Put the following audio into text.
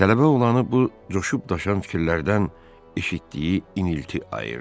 Tələbə oğlanı bu coşub daşan fikirlərdən eşitdiyi inilti ayırdı.